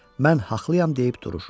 Mən haqlıyam deyib durur.